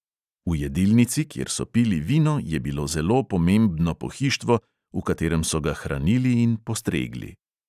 V jedilnici, kjer so pili vino, je bilo zelo pomembno pohištvo, v katerem so ga hranili in postregli.